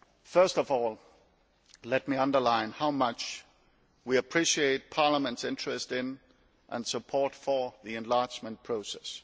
First of all let me underline how much we appreciate Parliament's interest in and support for the enlargement process.